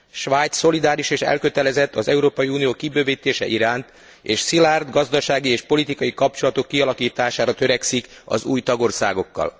Svájc szolidáris és elkötelezett az Európai Unió kibővítése iránt, és szilárd gazdasági és politikai kapcsolatok kialakítására törekszik az új tagországokkal.